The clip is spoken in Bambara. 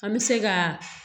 An bɛ se ka